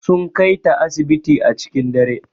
Sun Kai ta asibiti a cikin dare.